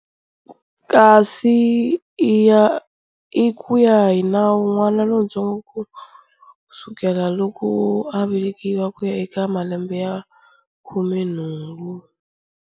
Kasi i ku ya hi nawu n'wana lontsongo ku sukela loko a velekiwa, ku ya eka malembe ya khumenhungu.